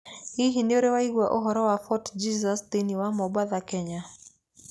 Hihi nĩ ũrĩ waigua ũhoro wa Fort Jesus thĩinĩ wa Mombasa, Kenya?